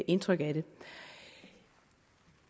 indtryk af